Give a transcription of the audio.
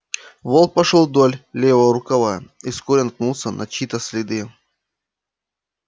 волк пошёл вдоль левого рукава и вскоре наткнулся на чьи то следы